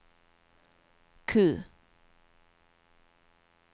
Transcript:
Q